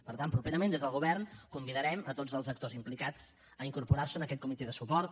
per tant properament des del govern convidarem tots els actors implicats a incorporar se a aquest comitè de suport